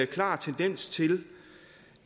klar tendens til